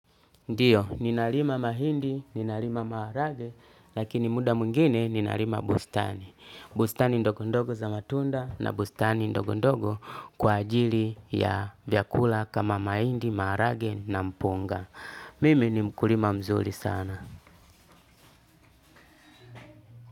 Ndiyo, ninalima mahindi, ninalima maharage, lakini muda mwingine ninalima bustani. Bustani ndogondogo za matunda na bustani ndogondogo kwa ajili ya vyakula kama mahindi, maharage na mpunga. Mimi ni mkulima mzuli sana.